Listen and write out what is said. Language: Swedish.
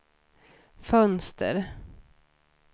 fönster